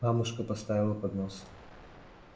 мамушка поставила поднос